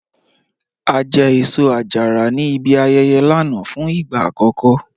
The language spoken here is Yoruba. A jẹ́ èṣọ-àjàrà ní ìbí ayẹyẹ̀ lánà fún igba akọkọ